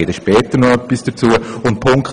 ich komme noch darauf zurück.